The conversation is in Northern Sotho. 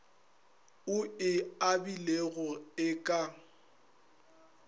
o e abilego e ka